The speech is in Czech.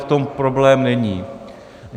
V tom problém není.